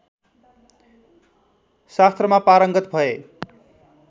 शास्त्रमा पारङ्गत भए